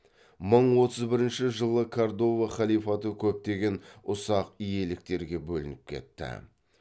мың отыз бірінші жылы кордова халифаты көптеген ұсақ иеліктерге бөлініп кетті